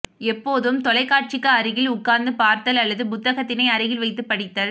எப்போதும் தொலைக்காட்சிக்கு அருகி உட்கார்ந்து பார்த்தல் அல்லது புத்தகத்தினை அருகில் வைத்து படித்தல்